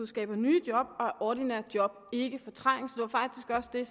skaber nye job og at ordinære job ikke fortrænges det var faktisk også det